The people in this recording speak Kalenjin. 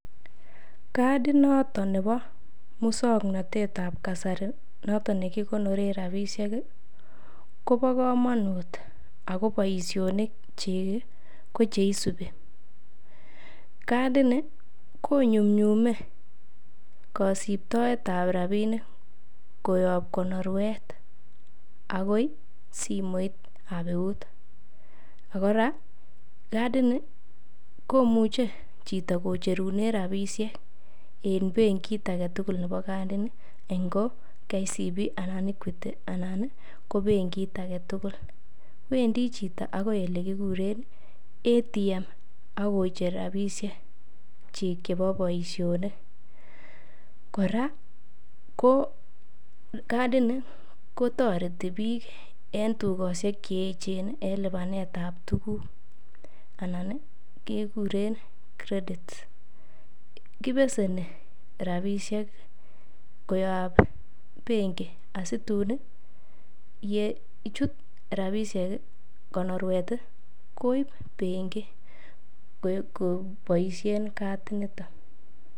Kadit noto nebo muswoknatet ab kasari noton nekikonoren rabishek kobo komonut ago boisionikyik ko che isubi: Kadit ni konyumnyume kosibtoet ab rabinik koyob konorwet agoi simoit ab eut. Ak kora kadini komuche chito kocherunen rabishek en bengit age tugul nebo kadini, ngo KCB anan ko Equity anan ii ko benit age tugul. Wendi chito agoi ele kiguren ATM ak kocher rabinikyik chebo boisionik. Kora ko kadini kotoreti biik en tugoshek che eechen en lipanet ab tuguk anan keguren credit kibeseni rabinishek koyob bengi asitun ye chut rabishek konorwet koib bengi koboishen kadinito.